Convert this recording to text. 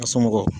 A somɔgɔw